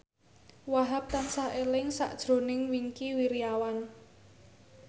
Wahhab tansah eling sakjroning Wingky Wiryawan